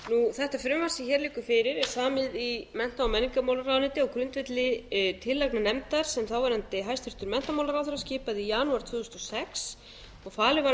þetta frumvarp sem hér liggur fyrir er samið í mennta og menningarmálaráðuneyti á grundvelli tillagna nefndar sem þáverandi hæstvirtur menntamálaráðherra skipaði í janúar tvö þúsund og sex og falið var að